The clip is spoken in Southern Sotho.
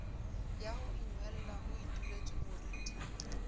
ya ho inwella ho ituletswemoriting